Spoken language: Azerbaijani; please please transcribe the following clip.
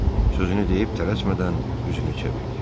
Sözünü deyib tələsmədən üzünü çevirdi.